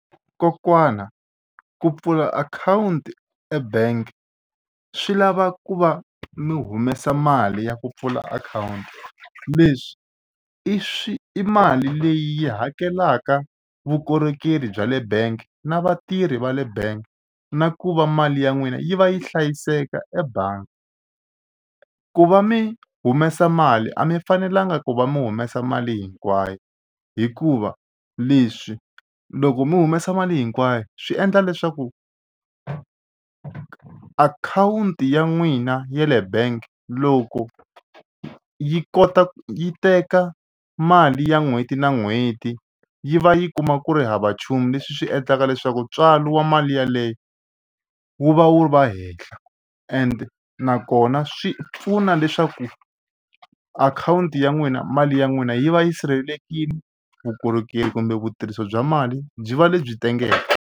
Kokwana ku pfula akhawunti ebank swi lava ku va mi humesa mali ya ku pfula akhawunti leswi i swi i mali leyi hakelaka vukorhokeri bya le bank na vatirhi va le bank na ku va mali ya n'wina yi va yi hlayiseka ebangi. Ku va mi humesa mali a mi fanelanga ku va mi humesa mali hinkwayo hikuva leswi loko mi humesa mali hinkwayo swi endla leswaku akhawunti ya n'wina ya le bank loko yi kota ku yi teka mali ya n'hweti na n'hweti yi va yi kuma ku ri hava nchumu leswi swi endlaka leswaku ntswalo wa mali yeleyo wu va wu va hehla and nakona swi pfuna leswaku akhawunti ya n'wina mali ya n'wina yi va yi sirhelelekile vukorhokeri kumbe vutirhisi bya mali byi va lebyi tengeke.